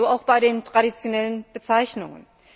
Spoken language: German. So auch bei den traditionellen Bezeichnungen.